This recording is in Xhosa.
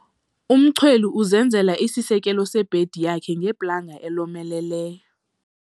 Umchweli uzenzele isisekelo sebhedi yakhe ngeplanga elomeleleyo.